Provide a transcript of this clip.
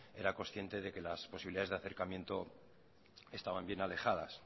era conciente de que las posibilidades de acercamiento estaban bien alejadas